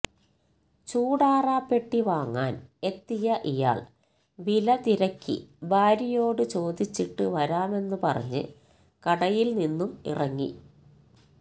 ചൂടാറാപ്പെട്ടി വാങ്ങാന് എത്തിയ ഇയാള് വില തിരക്കി ഭാര്യയോട് ചോദിച്ചിട്ട് വരാമെന്ന് പറഞ്ഞ് കടയില് നിന്നും ഇറങ്ങി